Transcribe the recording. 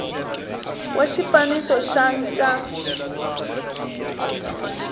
wa xifaniso xa c ya